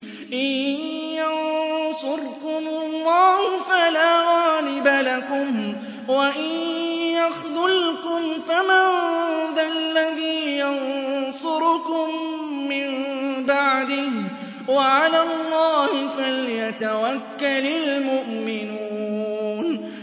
إِن يَنصُرْكُمُ اللَّهُ فَلَا غَالِبَ لَكُمْ ۖ وَإِن يَخْذُلْكُمْ فَمَن ذَا الَّذِي يَنصُرُكُم مِّن بَعْدِهِ ۗ وَعَلَى اللَّهِ فَلْيَتَوَكَّلِ الْمُؤْمِنُونَ